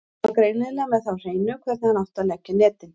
Hann var greinilega með það á hreinu hvernig hann átti að leggja netin.